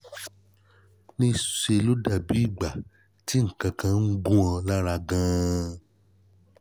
ńṣe ló dà bí ìgbà tí nǹkan kan ń gún ọ lára gan-an